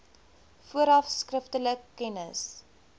vooraf skriftelik kennis